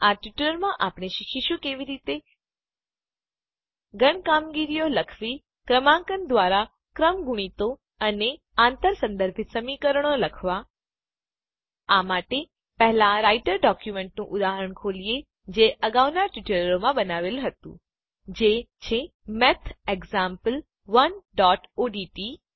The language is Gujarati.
આ ટ્યુટોરીયલમાં આપણે શીખીશું કેવી રીતે ગણ કામગીરીઓ સેટ ઓપરેશન્સ લખવી ક્રમાંકન દ્વારા ક્રમગુણિતો ફેક્ટોરીયલ્સ અને આંતર સંદર્ભિત સમીકરણો ક્રોસ રેફરન્સ ઈક્વેશન્સ લખવા આ માટે પહેલાં રાઈટર ડોક્યુમેન્ટનું ઉદાહરણ ખોલીએ જે અગાઉનાં ટ્યુટોરીયલોમાં બનાવેલ હતું જે છે mathexample1ઓડીટી